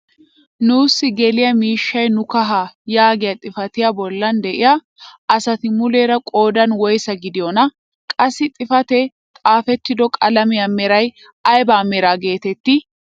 "nuusi geliyaa miishshay nu kahaa" yaagiyaa xifatiyaa bollan de'iyaa asati muleera qoodan woysa gidiyoonaa? qassi xifatee xaafettido qalamiyaa meray ayba mera getettii?